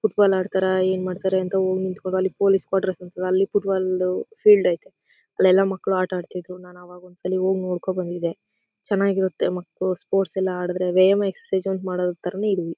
Foot ball ಆಡ್ತಾರಾ ಏನ್ ಮಾಡ್ತಾರಾ ಅಂತ ಹೋಗಿ ನಿತ್ಕೊಂಡು ಅಲ್ಲಿ ಪೊಲೀಸ್ ಕ್ವಾಟ್ರೇಸ್ ಇರ್ತದೆ ಅಲ್ಲಿ ಫುಟ್ ಬಾಲ್ ಫೀಲ್ಡ್ ಅಯ್ತೆ. ಅಲ್ಲೆಲ ಮಕ್ಕಳು ಆಟ ಅಡ್ತ ಇದ್ರೂ ನಾನ್ ಅವಾಗ ಒಂದ್ಸಲ ಹೋಗ್ ನೋಡ್ಕೊಂಡು ಬಂದಿದೆ. ಚೆನ್ನಾಗಿರುತ್ತೆ ಮಕ್ಕಳು ಸ್ಪೋರ್ಟ್ಸ್ ಎಲ್ಲ ಆಡಿದ್ರೆ ವ್ಯಾಯಾಮ ಎಕ್ಸರ್ಸೈಜ್ ಮಾಡೋ ತರಾನೇ ಇದುವೆ.